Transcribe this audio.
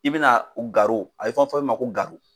I bina a bɛ fɔ min ma ko